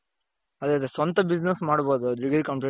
ಅದೇ ಅದೇ ಸ್ವಂತ business ಮಾಡ್ಬಹುದು degree complete,